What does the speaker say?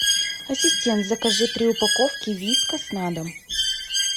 ассистент закажи три упаковки вискас на дом